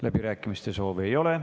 Läbirääkimiste soovi ei ole.